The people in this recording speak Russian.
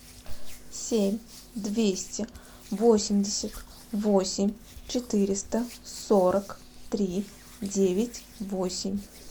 семь двести восемьдесят восемь четыреста сорок три девять восемь